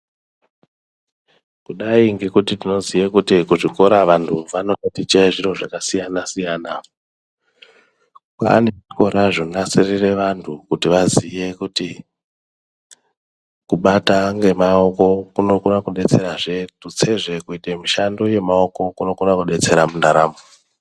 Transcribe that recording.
Kudai ngekuti tinoziye kuti kuzvikora vantu vano tatiche zviro zvakasiyana siyana. Kwaane zvikora zvonasirire vantu kuti vaziye kuti kubata ngemaoko kunokona kudetserazve, tutsezve kuite mishando yemaoko kunokone kudetsera mundaramo.